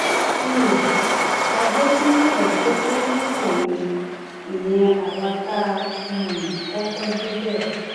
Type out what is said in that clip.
um a jẹ bíi mẹẹẹdógún nígbà yẹn ìyẹn àwa tá a um kọkọ débẹ